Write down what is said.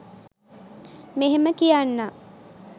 මෙහෙම කියන්නම්.